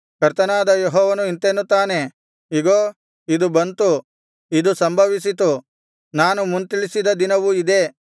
ಕರ್ತನಾದ ಯೆಹೋವನು ಇಂತೆನ್ನುತ್ತಾನೆ ಇಗೋ ಇದು ಬಂತು ಇದು ಸಂಭವಿಸಿತು ನಾನು ಮುಂತಿಳಿಸಿದ ದಿನವು ಇದೇ